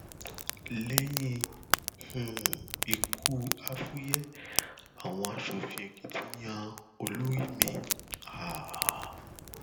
lẹyìn um ikú àfùyẹ àwọn aṣòfin èkìtì yan olórí mi um